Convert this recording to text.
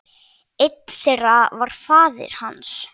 Einn þeirra var faðir hans.